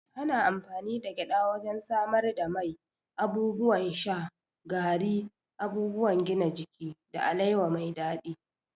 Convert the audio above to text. Ana amfani da gyada wajen samar da mai, abubuwan sha, gari, abubuwan gina jiki, da alewa mai daɗi.